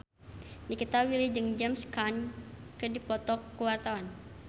Nikita Willy jeung James Caan keur dipoto ku wartawan